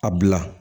A bila